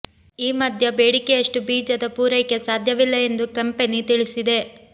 ಈ ಮಧ್ಯ ಬೇಡಿಕೆಯಷ್ಟು ಬೀಜದ ಪೂರೈಕೆ ಸಾಧ್ಯವಿಲ್ಲ ಎಂದು ಕಂಪೆನಿ ತಿಳಿಸಿದೆ